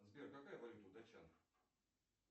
сбер какая валюта у датчан